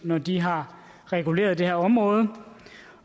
når de har reguleret det her område